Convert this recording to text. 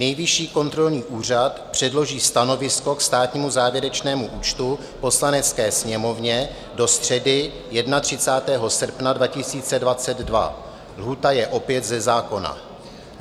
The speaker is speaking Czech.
Nejvyšší kontrolní úřad předloží stanovisko k státnímu závěrečnému účtu Poslanecké sněmovně do středy 31. srpna 2022 - lhůta je opět ze zákona.